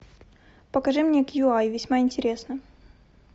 покажи мне кью ай весьма интересно